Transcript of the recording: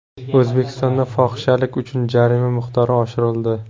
O‘zbekistonda fohishalik uchun jarima miqdori oshirildi.